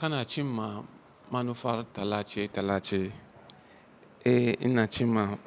Kana cin ma manufa talace talace. Eh ina cin ma